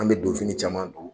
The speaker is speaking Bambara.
An bɛ donfini caman don.